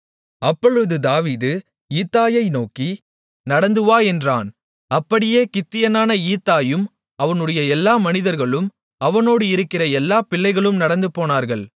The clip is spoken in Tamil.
அப்பொழுது தாவீது ஈத்தாயை நோக்கி நடந்துவா என்றான் அப்படியே கித்தியனான ஈத்தாயும் அவனுடைய எல்லா மனிதர்களும் அவனோடு இருக்கிற எல்லாப் பிள்ளைகளும் நடந்துபோனார்கள்